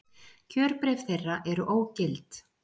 Kjörbréf þeirra eru ógild